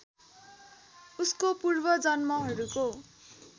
उसको पूर्व जन्महरूको